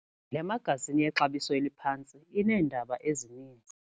Le magazini yexabiso eliphantsi ineendaba ezininzi.